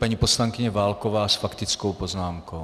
Paní poslankyně Válková s faktickou poznámkou.